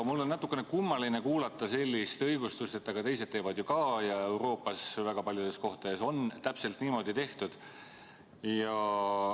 Mul on natukene kummaline kuulata sellist õigustust, et aga teised teevad ju ka ja Euroopas väga paljudes kohtades on täpselt niimoodi tehtud.